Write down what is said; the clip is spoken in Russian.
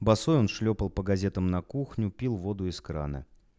босой он шлёпал по газетам на кухню пил воду из крана